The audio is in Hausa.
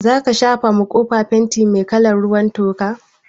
Zaka shafa ma kofa fenti mai kalar ruwan toka?